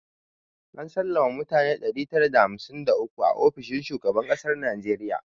An sallama mutane ɗari tara da hamsin da uku a ofishin shugaban kasar najeriya jiya